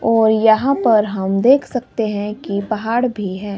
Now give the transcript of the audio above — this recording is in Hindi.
और यहां पर हम देख सकते हैं कि पहाड़ भी है।